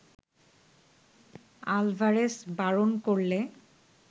Alvarez বারণ করলে